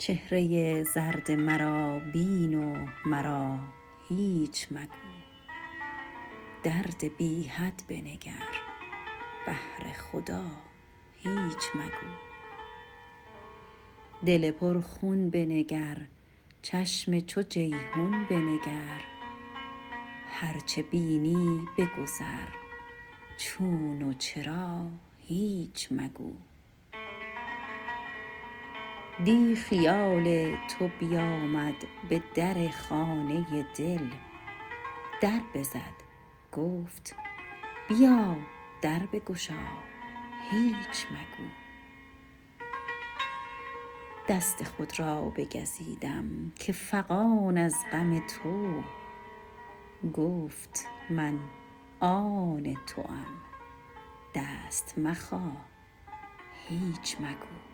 چهره زرد مرا بین و مرا هیچ مگو درد بی حد بنگر بهر خدا هیچ مگو دل پرخون بنگر چشم چو جیحون بنگر هر چه بینی بگذر چون و چرا هیچ مگو دیٖ خیال تو بیامد به در خانه دل در بزد گفت بیا در بگشا هیچ مگو دست خود را بگزیدم که فغان از غم تو گفت من آن توام دست مخا هیچ مگو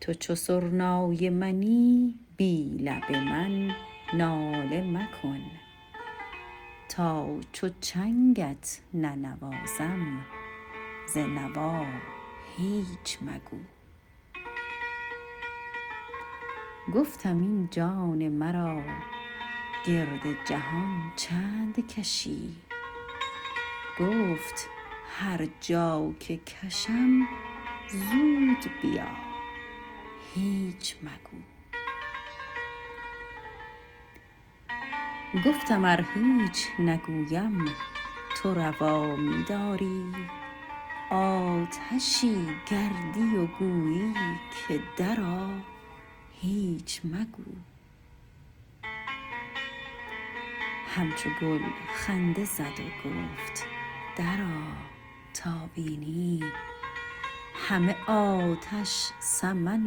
تو چو سرنای منی بی لب من ناله مکن تا چو چنگت ننوازم ز نوا هیچ مگو گفتم این جان مرا گرد جهان چند کشی گفت هر جا که کشم زود بیا هیچ مگو گفتم ار هیچ نگویم تو روا می داری آتشی گردی و گویی که درآ هیچ مگو همچو گل خنده زد و گفت درآ تا بینی همه آتش سمن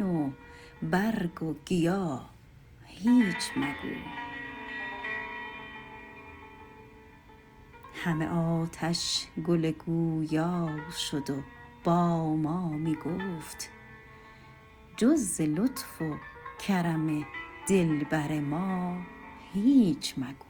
و برگ و گیا هیچ مگو همه آتش گل گویا شد و با ما می گفت جز ز لطف و کرم دلبر ما هیچ مگو